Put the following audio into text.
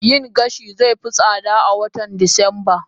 yin gashi zai fi tsada a watan Disamba